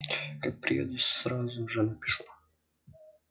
как приеду сразу же напишу